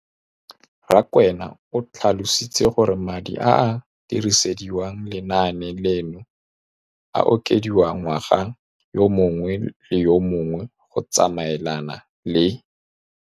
Rakwena o tlhalositse gore madi a a dirisediwang lenaane leno a okediwa ngwaga yo mongwe le yo mongwe go tsamaelana le